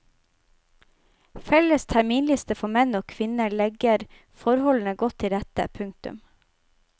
Felles terminliste for menn og kvinner legger forholdene godt til rette. punktum